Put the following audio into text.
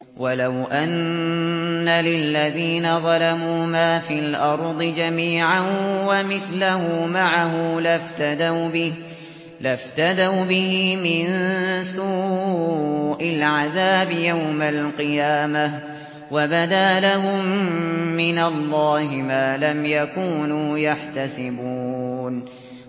وَلَوْ أَنَّ لِلَّذِينَ ظَلَمُوا مَا فِي الْأَرْضِ جَمِيعًا وَمِثْلَهُ مَعَهُ لَافْتَدَوْا بِهِ مِن سُوءِ الْعَذَابِ يَوْمَ الْقِيَامَةِ ۚ وَبَدَا لَهُم مِّنَ اللَّهِ مَا لَمْ يَكُونُوا يَحْتَسِبُونَ